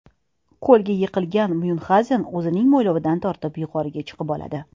Ko‘lga yiqilgan Myunxgauzen o‘zining mo‘ylovidan tortib yuqoriga chiqib oladi.